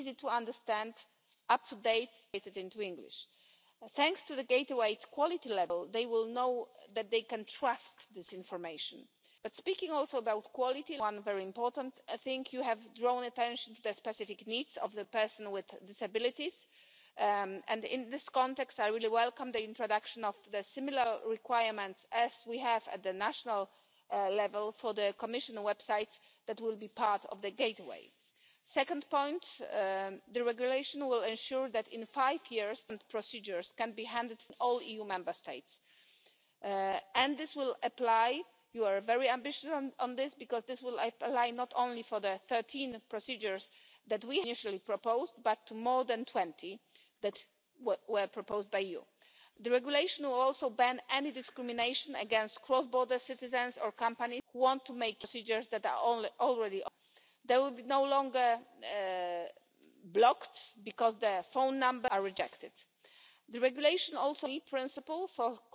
Aber nicht nur das. Wir gehen weiter und digitalisieren eine Reihe von Behördenverfahren, die durch das zentrale digitale Zugangstor nun allen EU Bürgerinnen und Bürgern zur Verfügung stehen. Vom Ansuchen der Geburtsurkunde, des Meldezettels, der Bewerbung für Studienbeihilfen hin zur Anmeldung einer Geschäftstätigkeit, Registrierung eines Mitarbeiters bei der Kranken und Pensionsversicherung oder bei der Einkommens und Körperschaftssteuererklärung sämtliche Behördengänge hierfür und noch viel mehr werden der Vergangenheit angehören und für alle Bürgerinnen und Bürger digital erledigbar sein. Ich bedanke mich daher für die ausgezeichnete Zusammenarbeit vor allem bei der Berichterstatterin und den Schattenberichterstattern sowie der bulgarischen Ratspräsidentschaft. Es war eine große Freude, an diesem Projekt mitarbeiten zu können, und ich hoffe, dass viele Bürgerinnen und Bürger in ihrem täglichen Alltag von diesem Projekt profitieren und spüren, dass es nur die gemeinsame Europäische Union möglich machen konnte, grenzüberschreitend diese Erleichterungen zu schaffen.